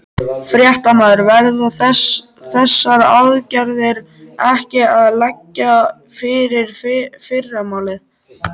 Fréttamaður: Verða þessar aðgerðir ekki að liggja fyrir í fyrramálið?